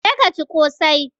Je ka ci ƙosai!